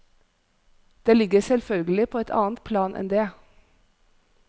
Det ligger selvfølgelig på et annet plan enn det.